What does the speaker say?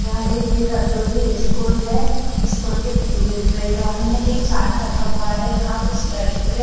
यह एक B _W D school है स्कूल के पी बैकग्राउंड में एक चार्ट लगा हुआ है यहाँ कुछ लड़के--